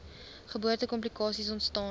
geboorte komplikasies ontstaan